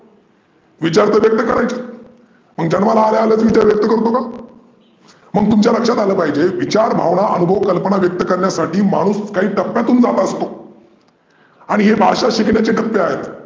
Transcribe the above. विचार तर व्यक्त करायचे मग जन्माला आल्या आल्या विचार व्यक्त करतो का? मग तुमच्या लक्षात आलं पाहीजे विचार, भावना, अनूभव, कल्पना व्यक्त करण्यासाठी माणूस काही टप्प्यातून जात आसतो. आणि हे भाषा शिकण्याचे टप्पे आहेत.